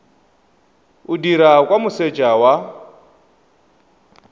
o dirwa kwa moseja wa